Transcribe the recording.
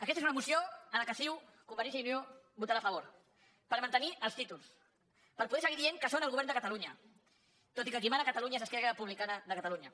aquesta és una moció en la qual ciu convergència i unió votarà a favor per mantenir els títols per poder seguir dient que són el govern de catalunya tot i que qui mana a catalunya és esquerra republicana de catalunya